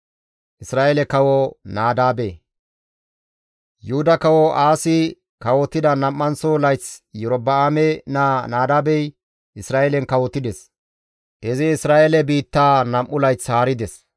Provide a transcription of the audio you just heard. Yuhuda Kawo Aasi kawotida nam7anththo layth Iyorba7aame naa Nadaabey Isra7eelen kawotides; izi Isra7eele biittaa nam7u layth haarides.